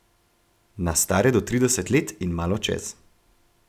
Na stare do trideset let in malo čez.